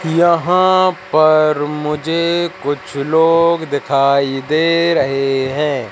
यहां पर मुझे कुछ लोग दिखाई दे रहे हैं।